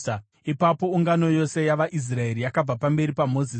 Ipapo ungano yose yavaIsraeri yakabva pamberi paMozisi,